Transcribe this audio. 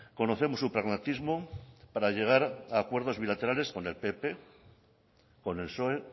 conocemos su pragmatismo para llegar a acuerdos bilaterales con el pp con el psoe